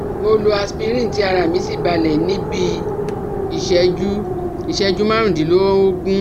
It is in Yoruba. Mo lo Aspirin tí ara mí sì balẹ̀ ní bí iìṣẹ́jú iìṣẹ́jú márùndínlógún